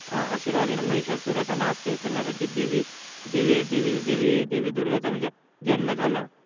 आशीर्वादाने महिषासुरयाचा नाश करण्यासाठी देवी देवी दुर्गा चा जन्म झाला